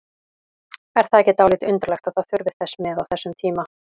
Er það ekki dálítið undarlegt að það þurfi þess með á þessum tíma?